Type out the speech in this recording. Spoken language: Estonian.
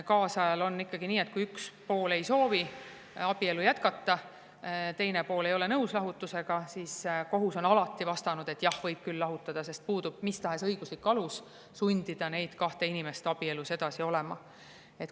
Kaasajal on ikkagi nii, et kui üks pool ei soovi abielu jätkata, aga teine pool ei ole nõus lahutusega, siis kohus on alati vastanud, et jah, võib küll lahutada, sest puudub mis tahes õiguslik alus sundida neid kahte inimest edasi abielus olema.